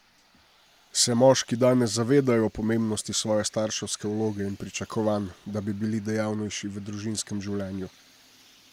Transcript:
Se moški danes zavedajo pomembnosti svoje starševske vloge in pričakovanj, da bi bili dejavnejši v družinskem življenju?